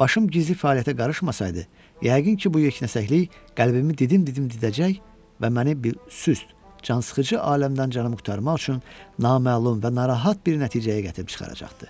başım gizli fəaliyyətə qarışmasaydı, yəqin ki, bu yeknəsəklik qəlbimi didim-didim didəcək və məni bir süst, cansıxıcı aləmdən canımı qurtarmaq üçün naməlum və narahat bir nəticəyə gətirib çıxaracaqdı.